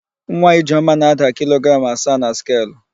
Nwa Ijeọma na-ada kilogram asaa na skelu.